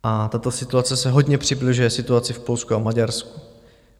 A tato situace se hodně přibližuje situaci v Polsku a Maďarsku.